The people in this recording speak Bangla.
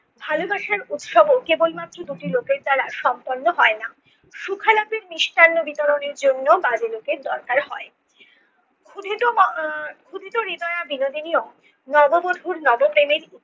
ভালোবাসার উৎসাহ কেবলমাত্র দুটি লোকের দ্বারা সম্পন্ন হয় না। সুখলাভের মিষ্টান্ন বিতরণের জন্য বাজেলকের দরকার হয়। ক্ষুদিত মা~ আহ ক্ষুদিত রিদয়া বিনোদিনী ও নববধূর নবপ্রেমের